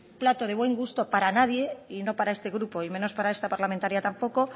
plato de buen gusto para nadie y no para este grupo y menos para esta parlamentaria tampoco